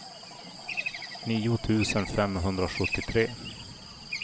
nio tusen femhundrasjuttiotre